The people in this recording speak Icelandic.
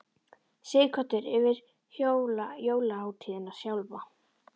Sighvatur: Yfir jólahátíðina sjálfa?